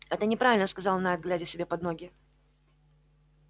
это неправильно сказал найд глядя себе под ноги